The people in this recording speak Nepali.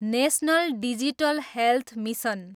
national digital health mission